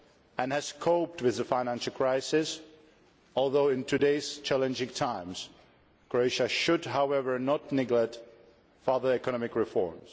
and has coped with the financial crisis, although in today's challenging times Croatia should not neglect further economic reform.